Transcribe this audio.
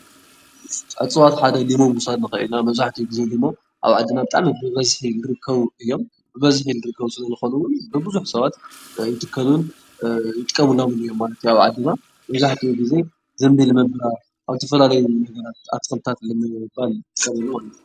ዕፅዋት መፀበቒ ቢሮ ምግባር ንኽእል ኢና እዚ ደሞ ኣብ ዓድና ብበዝሒ ልርከቡ እዮም፡፡ ብብዝሒ ልርከቡ ስለዝኾኑ ውን ብብዙሕ ሰባት ይትከሉን ይጥቀምሎምን እዮም ማለት እዩ ኣብ ዓድና መብዛሕትኡ ጊዜ ዘንቢል ምምላእ ኣብ ዝተፈላለዩ ጊዜ ኣትኽልትታት ንምባል ልሕሰብ እዩ ማለት እዩ፡፡